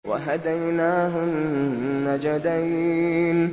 وَهَدَيْنَاهُ النَّجْدَيْنِ